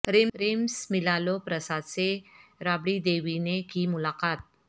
rims میںلالو پرساد سے رابڑی دیوی نے کی ملاقات